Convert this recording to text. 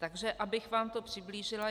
Takže abych vám to přiblížila.